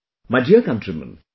My dear countrymen,